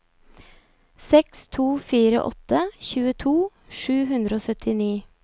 seks to fire åtte tjueto sju hundre og syttini